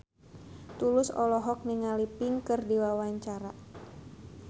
Tulus olohok ningali Pink keur diwawancara